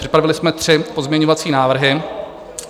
Připravili jsme tři pozměňovací návrhy.